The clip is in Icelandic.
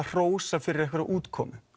hrósa fyrir einhverja útkomu